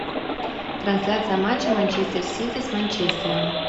трансляция матча манчестер сити с манчестером